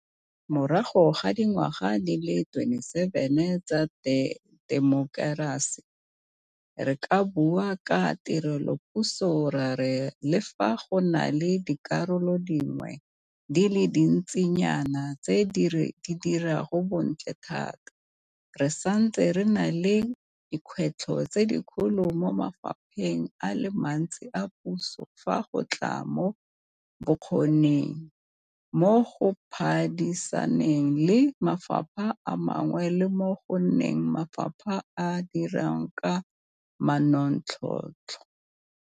Morago ga dingwaga di le 27 tsa temokerasi, re ka bua ka tirelopuso ra re le fa go na le dikarolo dingwe di le dintsi nyana tse di dirang bontle thata, re santse re na le dikgwetlho tse dikgolo mo mafapheng a le mantsi a puso fa go tla mo bokgoning, mo go phadisaneng le mafapha a mangwe le mo go nneng mafapha a a dirang ka manontlhotlho.